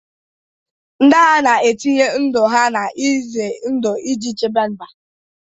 Ndị agha na-etinye ndụ ha n'ihe ize ndụ iji chebe mba.